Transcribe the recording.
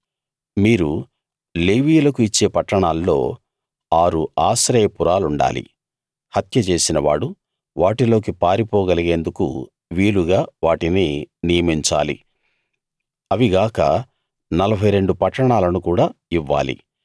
మీరు లేవీయులకు ఇచ్చే పట్టణాల్లో ఆరు ఆశ్రయపురాలుండాలి హత్య చేసినవాడు వాటిలోకి పారిపోగలిగేందుకు వీలుగా వాటిని నియమించాలి అవి గాక 42 పట్టణాలను కూడా ఇవ్వాలి